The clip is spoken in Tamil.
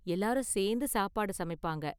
எல்லாரும் சேர்ந்து சாப்பாடு சமைப்பாங்க.